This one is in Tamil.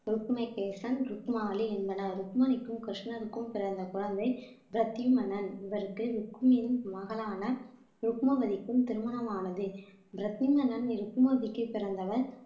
ருக்ணகேசன் ருக்மாலி என்பன ருக்மணிக்கும் கிருஷ்ணருக்கும் பிறந்த குழந்தை பிரத்தியுமனன் இவருக்கு மகளான ருக்மபதிக்கும் திருமணமானது பிரத்திமனன் ருக்மதிக்கு பிறந்தவர்